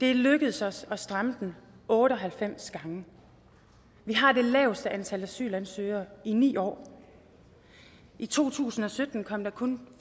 er lykkedes os at stramme den otte og halvfems gange vi har det laveste antal asylansøgere i ni år i to tusind og sytten kom der kun